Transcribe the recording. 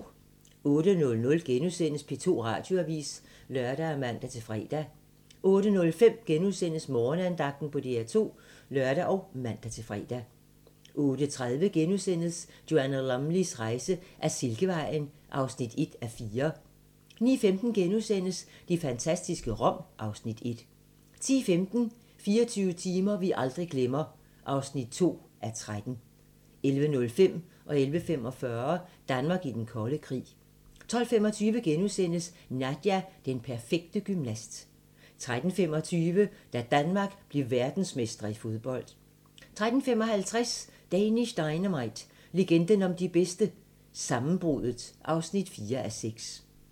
08:00: P2 Radioavis *(lør og man-fre) 08:05: Morgenandagten på DR2 *(lør og man-fre) 08:30: Joanna Lumleys rejse ad Silkevejen (1:4)* 09:15: Det fantastiske Rom (Afs. 1)* 10:15: 24 timer vi aldrig glemmer (2:13) 11:05: Danmark i den kolde krig 11:45: Danmark i den kolde krig 12:25: Nadia - den perfekte gymnast * 13:25: Da Danmark blev verdensmestre i fodbold 13:55: Danish Dynamite - legenden om de bedste - Sammenbruddet (4:6)